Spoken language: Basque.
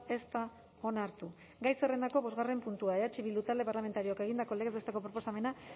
ez da onartu gai zerrendako bostgarren puntua eh bildu talde parlamentarioak egindako legez besteko proposamena